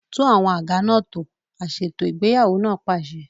Tún àwọn àga náà tò! Aṣètò ìgbéyàwó náà pàṣẹ.